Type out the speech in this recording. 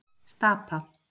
Stapa